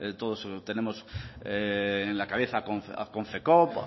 todos tenemos en la cabeza a confecop